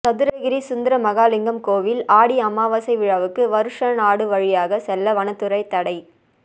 சதுரகிரி சுந்தரமகாலிங்கம் கோவில் ஆடி அமாவாசை விழாவுக்கு வருஷநாடு வழியாக செல்ல வனத்துறை தடை